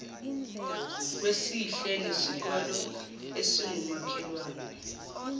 wesihle nesikole esingumakhelwane